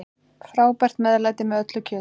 Frábært meðlæti með öllu kjöti.